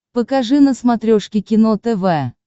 покажи на смотрешке кино тв